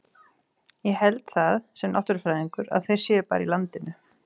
Ég held það, sem náttúrufræðingur, að þeir séu bara í landinu.